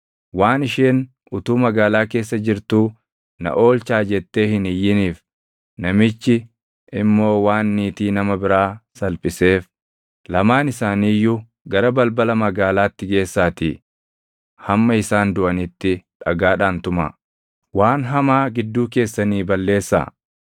waan isheen utuu magaalaa keessa jirtuu na oolchaa jettee hin iyyiniif, namichi immoo waan niitii nama biraa salphiseef, lamaan isaanii iyyuu gara balbala magaalaatti geessaatii hamma isaan duʼanitti dhagaadhaan tumaa. Waan hamaa gidduu keessanii balleessaa.